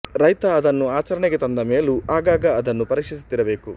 ರೈತ ಅದನ್ನು ಆಚರಣೆಗೆ ತಂದ ಮೇಲೂ ಆಗಾಗ ಅದನ್ನು ಪರೀಕ್ಷಿಸುತ್ತಿರಬೇಕು